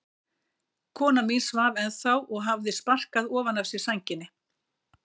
Kona mín svaf ennþá og hafði sparkað ofan af sér sænginni.